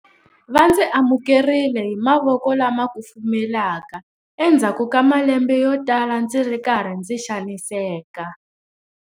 Va ndzi amukerile hi mavoko lama kufumelaka endzhaku ka malembe yo tala ndzi ri karhi ndzi xaniseka.